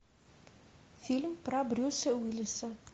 фильм про брюса уиллиса